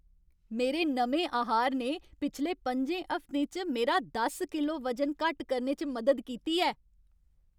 मेरे नमें आहार ने पिछले पंजें हफ्तें च मेरा दस किलो वजन घट्ट करने च मदद कीती ऐ।